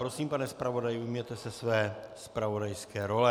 Prosím, pane zpravodaji, ujměte se své zpravodajské role.